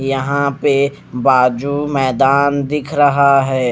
यहां पे बाजू मैदान दिख रहा है।